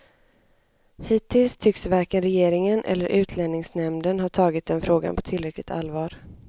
Hittills tycks varken regeringen eller utlänningsnämnden ha tagit den frågan på tillräckligt allvar.